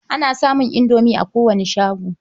Ana samun indomi a kowane shago.